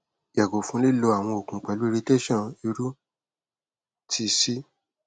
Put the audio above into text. yago fun lilo awọn oogun pẹlu irritation iru ti c